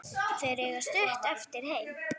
Þeir eiga stutt eftir heim.